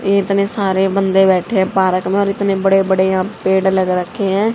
ये इतने सारे बंदे बैठे हैं पार्क में और इतने बड़े बड़े यहां पेड़ लग रखे हैं।